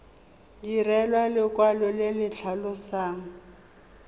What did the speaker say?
direlwa lekwalo le le tlhalosang